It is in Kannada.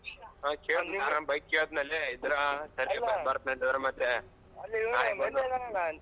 ಹಾ ಕೇಳ್ತೀನಿ bike ಕೇಳ್ತೀನಿ ಲೇ ಇದ್ರೆ ತರ್ತೀನಿ ಬರ್ತೀನಿ ಇಲ್ದೆ ಇದ್ರೆ ಮತ್ತೆ .